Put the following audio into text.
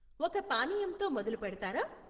ఒక పానీయంతో మొదలుపెడతారా?